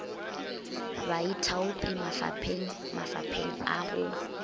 baithaopi mafapeng mafapeng a go